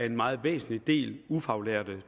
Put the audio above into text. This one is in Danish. en meget væsentlig del ufaglærte